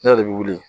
Ne yɛrɛ de bɛ wuli